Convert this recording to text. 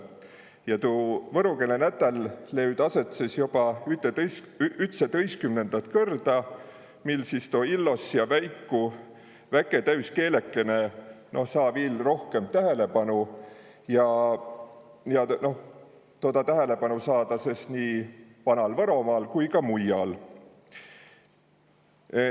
Ja tuu võro keele nätäl löüd aset sõs joba ütsetõistkümnendät kõrda, mil sis tuu illos ja väiku, väke täüs keelekene saa viil rohkõmp tähelepanu, ja toda tähelepanu saa ta sõs nii Vanal-Võromaal kui ka mujjal.